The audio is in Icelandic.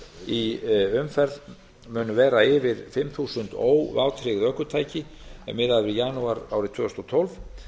í umferð munu vera yfir fimm þúsund óvátryggð ökutæki miðað við janúar árið tvö þúsund og tólf